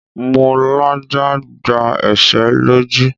Mo làjà gba ẹ̀ṣẹ́ lójú.